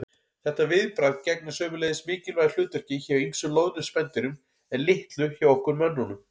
Þetta viðbragð gegnir sömuleiðis mikilvægu hlutverki hjá ýmsum loðnum spendýrum en litlu hjá okkur mönnunum.